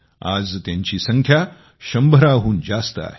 आज त्यांची संख्या शंभराहून जास्त आहे